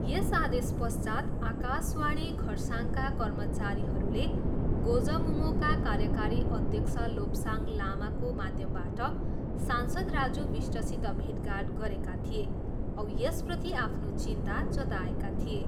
यस आदेशपश्चात् आकाशवाणी खरसाङका कर्मचारीहरूले गोजमुमोका कार्यकारी अध्यक्ष लोप्साङ लामाको माध्यमबाट सांसद राजु विष्टसित भेटघाट गरेका थिए औ यसप्रति आफ्नो चिन्ता जताएका थिए।